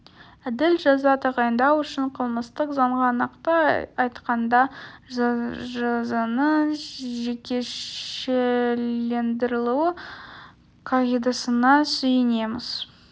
әділ жаза тағайындау үшін қылмыстық заңға нақты айтқанда жазаның жекешелендірілуі қағидасына сүйенеміз